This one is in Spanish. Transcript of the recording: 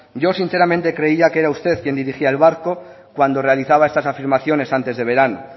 yo sinceramente creía que era usted quien dirigía el barco cuando realizaba estas afirmaciones antes de verano